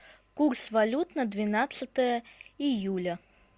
курс валют на двенадцатое июля